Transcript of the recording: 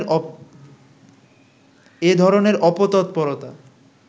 এধরনের অপতৎপরতা